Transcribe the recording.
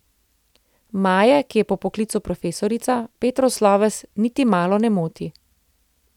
Maje, ki je po poklicu profesorica, Petrov sloves niti malo ne moti.